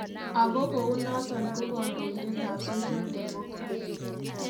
Agot kou noton ko kondoidet ab Social Democrats.